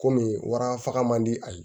Komi wara faga man di a ye